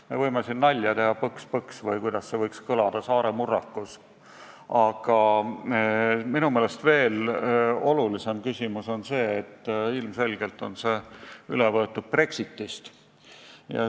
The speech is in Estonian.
Me võime siin nalja teha, "põks-põks" või kuidas see võiks kõlada saare murrakus, aga minu meelest olulisem küsimus on see, et ilmselgelt on see üle võetud Brexiti nimest.